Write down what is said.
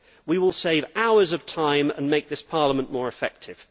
We will save hours of time and make this Parliament more effective.